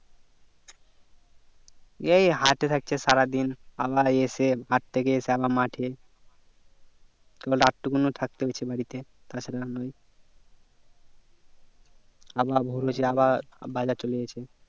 এই হাটে থাকছে সারাদিন আবার এসে হাট থেকে এসে আবার মাঠে কেবল রাতটুকু থাকছে বাড়িতে তাছাড়া ওই আবার ভোর হচ্ছে আবার বাজার চলে যেছে